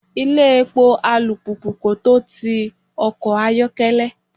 Ilé epo alùpùpù kò tó ti ọkọ̀ ayokele.